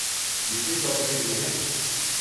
Week and shopping کے لیے ہیں!